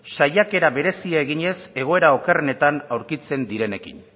saiakera bereziak eginez egoera okerrenetan aurkitzen direnekin